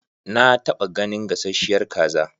Na taɓa ganin gasasshiyar kaza.